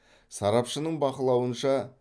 сарапшының бақылауынша